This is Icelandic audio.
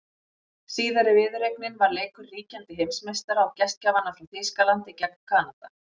Síðari viðureignin var leikur ríkjandi heimsmeistara og gestgjafanna frá Þýskalandi gegn Kanada.